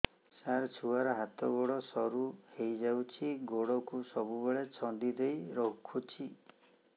ସାର ଛୁଆର ହାତ ଗୋଡ ସରୁ ହେଇ ଯାଉଛି ଗୋଡ କୁ ସବୁବେଳେ ଛନ୍ଦିଦେଇ ରଖୁଛି